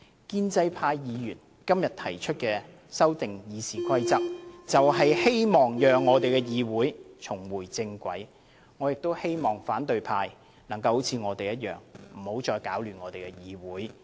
建制派議員今天提出修改《議事規則》，就是希望讓議會重回正軌，我希望反對派能夠像我們一樣，不要再搗亂議會，大家一起仁者。